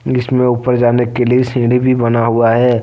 इसमे ऊपर जाने के लिए सीढी भी बना हुआ है।